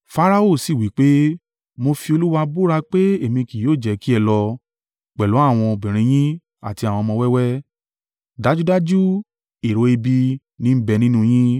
Farao sì wí pé, “Mo fi Olúwa búra pé èmi kí yóò jẹ́ kí ẹ lọ, pẹ̀lú àwọn obìnrin yín àti àwọn ọmọ wẹ́wẹ́, dájúdájú èrò ibi ní ń bẹ nínú yín.